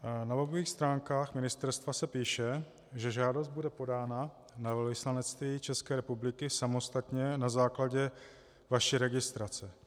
Na webových stránkách ministerstva se píše, že žádost bude podána na velvyslanectví České republiky samostatně na základě vaší registrace.